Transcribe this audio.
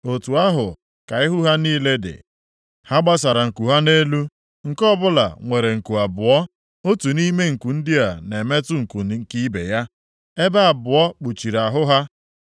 Otu ahụ ka ihu ha niile dị. Ha gbasara nku ha nʼelu, nke ọbụla nwere nku abụọ, otu nʼime nku ndị a na-emetụ nku nke ibe ya, ebe abụọ kpuchiri ahụ ha.